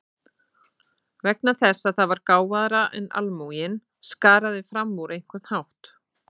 Vegna þess að það var gáfaðra en almúginn, skaraði fram úr á einhvern hátt.